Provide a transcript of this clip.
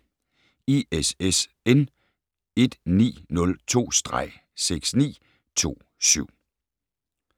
ISSN 1902-6927